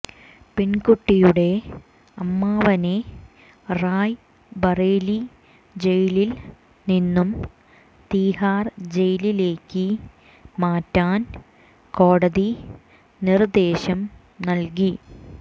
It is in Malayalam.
പെൺകുട്ടിയുടെ അമ്മാവനെ റായ് ബറേലി ജയിലിൽ നിന്നും തീഹാർ ജയിലിലേക്ക് മാറ്റാൻ കോടതി നിർദേശം നൽകി